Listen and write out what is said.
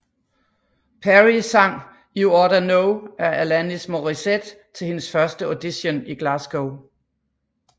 Perrie sang You Oughta Know af Alanis Morissette til hendes første audition i Glasgow